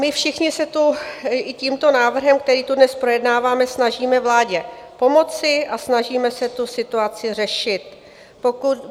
My všichni se tu i tímto návrhem, který tu dnes projednáváme, snažíme vládě pomoci a snažíme se tu situaci řešit.